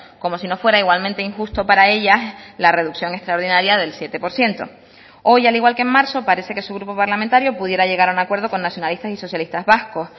como si no fuera igualmente injusto para ellas la reducción extraordinaria del siete por ciento hoy al igual que en marzo parece que su grupo parlamentario pudiera llegar a un acuerdo con nacionalistas y socialistas vascos